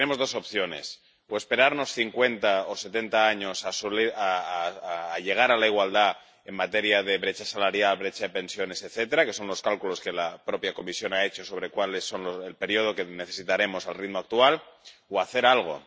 tenemos dos opciones o esperar 50 o 70 años para llegar a la igualdad en materia de brecha salarial, brecha de pensiones, etcétera, que son los cálculos que la propia Comisión ha hecho sobre cuál es el periodo que necesitaremos al ritmo actual, o hacer algo.